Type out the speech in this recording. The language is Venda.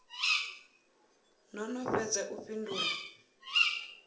no no fhedza u fhindula